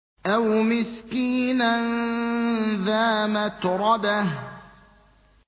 أَوْ مِسْكِينًا ذَا مَتْرَبَةٍ